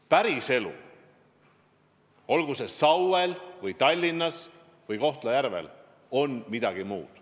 Päriselu, olgu Sauel või Tallinnas või Kohtla-Järvel, on midagi muud.